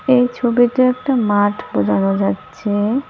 এই ছবিতে একটা মাঠ বোঝানো যাচ্ছে।